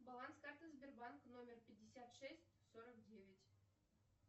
баланс карты сбербанка номер пятьдесят шесть сорок девять